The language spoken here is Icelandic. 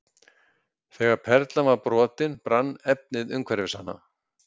Þegar perlan var brotin brann efnið umhverfis hana.